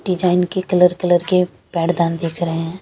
Design की colour colour के पैर दान दिख रहे है।